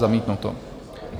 Zamítnuto.